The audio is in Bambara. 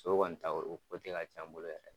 Sogo kɔni ta kɔni o ka can n bolo yɛrɛ.